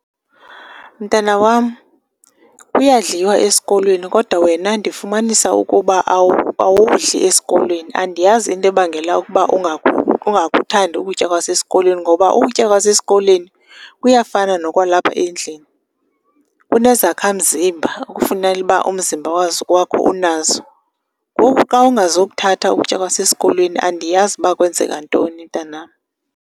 Mntana wam, kuyadliwa esikolweni kodwa wena ndifumanisa ukuba awudli esikolweni. Andiyazi into ebangela ukuba ungakuthandi ukutya kwasesikolweni ngoba ukutya kwasesikolweni kuyafana nokwalapha endlini, unezakha mzimba okufunela uba umzimba wakho unazo. Ngoku xa ungazokuthatha ukutya kwasesikolwei andiyazi uba kwenzeka ntoni mntanam.